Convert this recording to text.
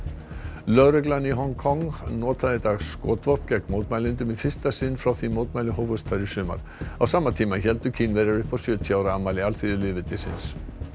lögreglan í Hong Kong notaði í dag skotvopn gegn mótmælendum í fyrsta sinn frá því mótmæli hófust þar í sumar á sama tíma héldu Kínverjar upp á sjötíu ára afmæli alþýðulýðveldisins